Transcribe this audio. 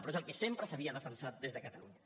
però és el que sempre s’havia defensat des de catalunya